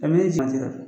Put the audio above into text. A bɛ jati